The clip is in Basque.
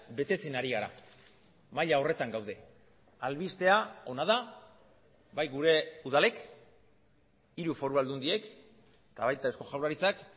betetzen ari gara maila horretan gaude albistea ona da bai gure udalek hiru foru aldundiek eta baita eusko jaurlaritzak